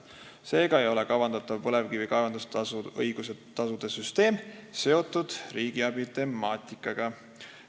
Seega ei ole kavandatav põlevkivi kaevandamisõiguse tasumäärade süsteem seotud riigiabi temaatikaga.